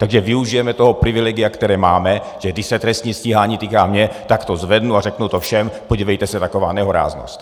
Takže využijeme toho privilegia, které máme, že když se trestní stíhání týká mě, tak to zvednu a řeknu to všem: podívejte se, taková nehoráznost!